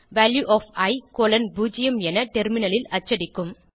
value of i 0 என டெர்மினலில் அச்சடிக்கும்